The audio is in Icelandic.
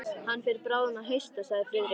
Hann fer bráðum að hausta sagði Friðrik.